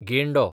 गेंडो